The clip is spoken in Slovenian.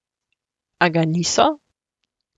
A ga niso.